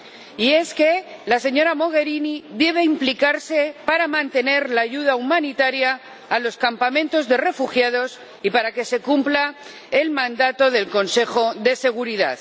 Y es que la señora Mogherini debe implicarse para mantener la ayuda humanitaria a los campamentos de refugiados y para que se cumpla el mandato del Consejo de Seguridad.